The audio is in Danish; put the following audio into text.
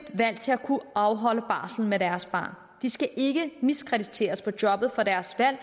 valg til at kunne afholde barslen med deres barn de skal ikke miskrediteres på jobbet for deres valg